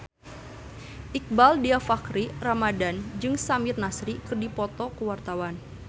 Iqbaal Dhiafakhri Ramadhan jeung Samir Nasri keur dipoto ku wartawan